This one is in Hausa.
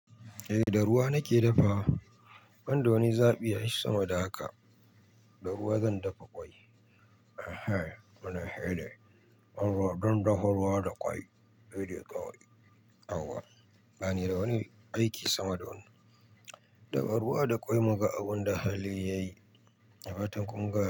Eh, da ruwa nake dafa. Ban da wani zaɓi ai sama da haka. Da ruwa zan dafa ƙwai. Ehe, muna hira don dafa ruwa da ƙwai hine kawai ba ni da wani aiki sama da wannan. Dafa ruwa da ƙwai muga abun da halin yayi da fatan kun gane.